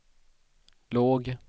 låg